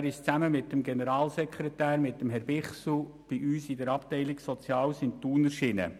Er ist zusammen mit Herrn Bichsel, dem Generalsekretär, bei uns in der Abteilung Soziales in Thun erschienen.